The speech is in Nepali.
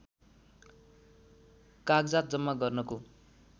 कागजात जम्मा गर्नको